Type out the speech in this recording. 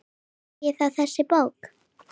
Hvað segir þá þessi bók?